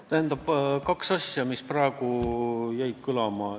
Tähendab, kaks asja jäid praegu kõlama.